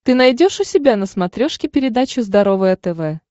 ты найдешь у себя на смотрешке передачу здоровое тв